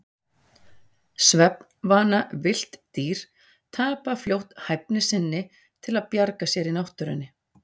Svefnvana villt dýr tapa fljótt hæfni sinni til að bjarga sér í náttúrunni.